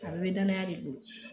A bɛɛ bɛ danaya de bolo